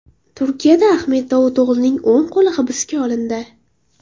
Turkiyada Ahmet Davuto‘g‘lining o‘ng qo‘li hibsga olindi.